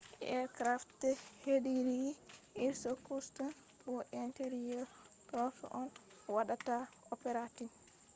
aircraft hediri irkutsk bo interior troops on waɗata operating